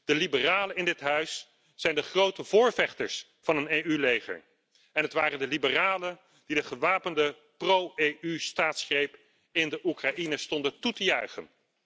De liberalen in dit Parlement zijn de grote voorvechters van een EU leger en het waren de liberalen die de gewapende pro EU staatsgreep in de Oekraïne stonden toe te juichen.